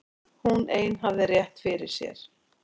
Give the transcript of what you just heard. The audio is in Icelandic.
Hún ein hafði rétt fyrir sér.